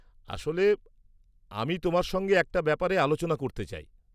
আসলে, আমি তোমার সঙ্গে একটা ব্যাপারে আলোচনা করতে চাই।